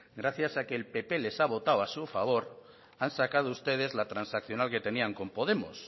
gracias a que el pp les ha votado a su favor han sacado ustedes la transaccional que tenían con podemos